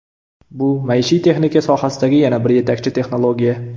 Bu maishiy texnika sohasidagi yana bir yetakchi texnologiya.